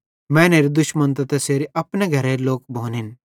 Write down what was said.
मैनेरे दुश्मन त तैसेरे अपने घरेरे लोक भोनेन